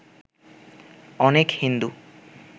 অনেক হিন্দু